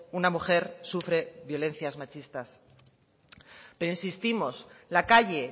una mujer sufre violencias machistas pero insistimos la calle